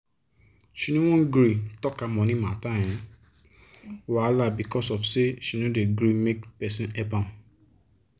she no wan gree tok her money matter um wahala becos of say she no dey gree make person help am.